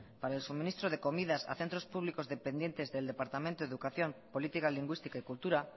para el suministro de comidas a centros públicos dependientes del departamento de educación política lingüística y cultura